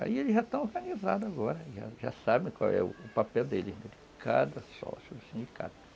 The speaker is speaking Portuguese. Aí eles já estão organizados agora, já sabem qual é o papel deles, de cada sócio do sindicato.